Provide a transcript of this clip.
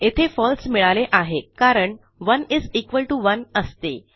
येथे फळसे मिळाले आहे कारण 1 इस इक्वॉल टीओ 1 असते